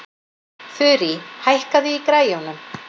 Þurí, hækkaðu í græjunum.